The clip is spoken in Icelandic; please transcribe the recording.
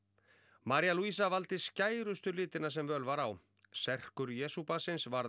María valdi skærustu litina sem völ var á Jesúbarnsins varð